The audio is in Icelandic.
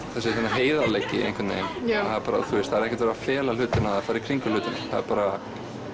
heiðarleiki einhvern veginn það er ekkert verið að fela hlutina eða fara í kringum hlutina það er bara